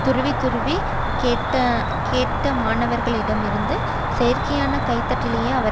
துருவித்துருவிக் கேட்டனர்மாணவர்களிடம் இருந்து செயற்கையான கைதட்டலையே அவர்